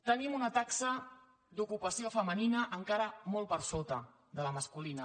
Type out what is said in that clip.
tenim una taxa d’ocupació femenina encara molt per sota de la masculina